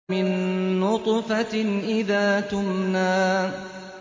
مِن نُّطْفَةٍ إِذَا تُمْنَىٰ